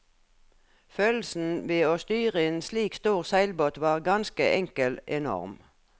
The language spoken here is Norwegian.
Følelsen ved å styre en slik stor seilbåt var ganske enkel enorm.